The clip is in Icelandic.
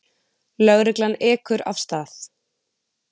Lögreglan ekur af stað.